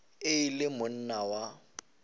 ge e le monna wa